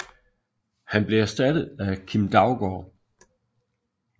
Han blev erstattet af Kim Daugaard